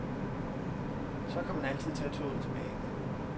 Så kan man altid tage toget tilbage.